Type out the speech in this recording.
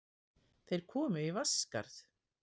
Þeir komu í Vatnsskarð.